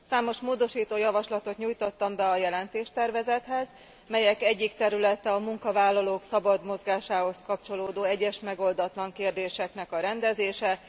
Számos módosító javaslatot nyújtottam be a jelentéstervezethez, melyek egyik területe a munkavállalók szabad mozgásához kapcsolódó egyes megoldatlan kérdéseknek a rendezése.